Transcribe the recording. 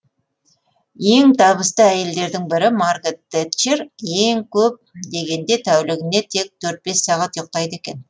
ең табысты әйелдердің бірі маргарет тетчер ең көп дегенде тәулігіне тек төрт бес сағат ұйықтайды екен